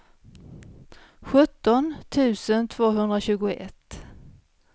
sjutton tusen tvåhundratjugoett